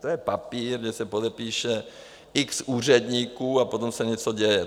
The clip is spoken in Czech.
To je papír, kde se podepíše x úředníků a potom se něco děje.